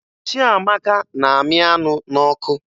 Chiamaka na-amị anụ n'ọkụ